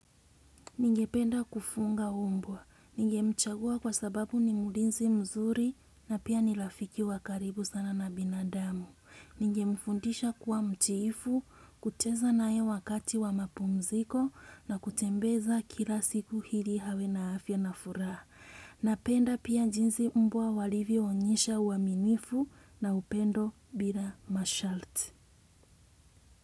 Ninge penda kufunga umbwa. Ninge mchagua kwa sababu ni mulinzi mzuri na pia nilafiki wa karibu sana na binadamu. Ninge mfundisha kuwa mtiifu, kuteza nae wakati wa mapumziko na kutembeza kila siku hili hawe na afya na furaha. Napenda pia jinsi mbwa walivo onyesha uaminifu na upendo bila mashalt.